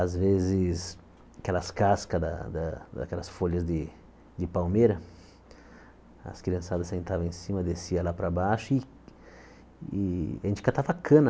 Às vezes, aquelas cascas da da, daquelas folhas de palmeira, as criançadas sentavam em cima, desciam lá para baixo e e a gente catava cana.